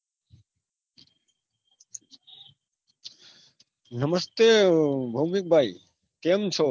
નમસ્તે ભોંમિક ભાઈ કેમ છો